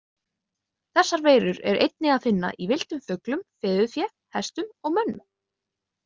Þessar veirur er einnig að finna í villtum fuglum, fiðurfé, hestum og mönnum.